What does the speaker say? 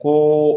Ko